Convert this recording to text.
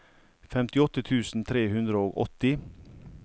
femtiåtte tusen tre hundre og åtti